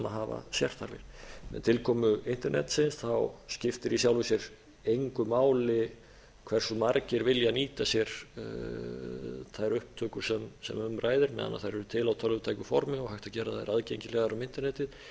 hafa sérþarfir með tilkomu internetsins skiptir í sjálfu sér engu máli hversu margir vilja nýta sér þær upptökur sem um ræðir meðan þær eru til á tölvutæku formi og hægt að gera þær aðgengilegar um